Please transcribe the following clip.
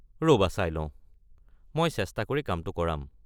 ৰ'বা চাই লওঁ, মই চেষ্টা কৰি কামটো কৰাম।